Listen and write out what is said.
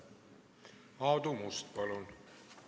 Aadu Must, palun!